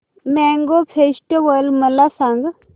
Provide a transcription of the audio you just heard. mango festival मला सांग